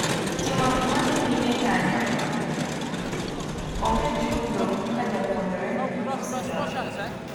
Timo gik madhi nyime kanyo onge chudo ka japuonjre osee donjo.